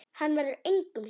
Það verður engum hlíft!